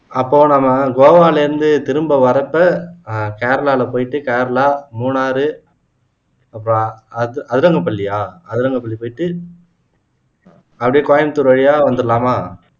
அப்போ நம்ம கோவால இருந்து திரும்ப வர்றப்ப ஆஹ் கேரளால போயிட்டு கேரளா மூணாவது அப்ப அதிரங்கபள்ளியா அதிரங்கபள்ளி போயிட்டு அப்படியே கோயம்புத்தூர் வழியா வந்துரலாமா